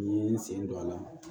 N ye n sen don a la